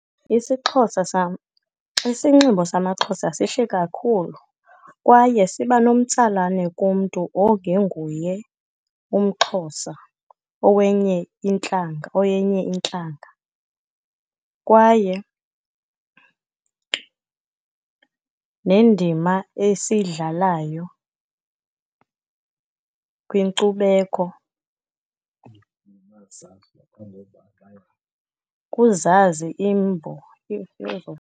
IsiXhosa sam. Isinxibo samaXhosa sihle kakhulu, kwaye siba nomtsalane kumntu ongenguye umXhosa, owenye intlanga, oyenye intlanga. Kwaye nendima esiyidlalayo kwinkcubeko, kuzazi imbo